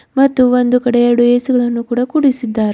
ಮತ್ತು ಒಂದು ಕಡೆ ಎರಡು ಎಸಿಗಳನ್ನು ಕೂಡ ಕುಡಿಸಿದ್ದಾರೆ.